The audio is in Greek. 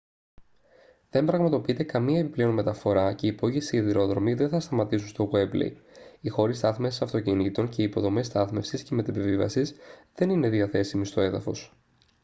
δεν πραγματοποιείται καμία επιπλέον μεταφορά και οι υπόγειοι σιδηρόδρομοι δεν θα σταματήσουν στο γουέμπλεϊ οι χώροι στάθμευσης αυτοκινήτων και οι υποδομές στάθμευσης και μετεπιβίβασης δεν είναι διαθέσιμοι στο έδαφος